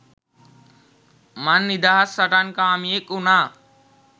මං නිදහස් සටන්කාමියෙක් උණා.